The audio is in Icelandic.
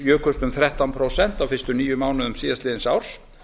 jukust um þrettán prósent á fyrstu níu mánuðum síðastliðins árs